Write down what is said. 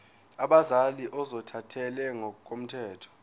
abazali ozothathele ngokomthetho